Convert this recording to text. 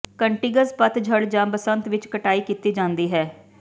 cuttings ਪਤਝੜ ਜਾਂ ਬਸੰਤ ਵਿੱਚ ਕਟਾਈ ਕੀਤੀ ਜਾਂਦੀ ਹੈ